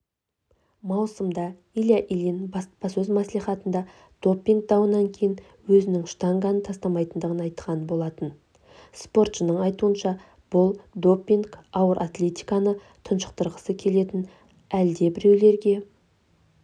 маусымда илья ильин баспасөз-маслихатында допинг дауынан кейін өзінің штанганы тастамайтындығын айтқан болатын спортшының айтуынша бұл допинг ауыр атлетиканы тұншықтырғысы келетін әлдебіреулерге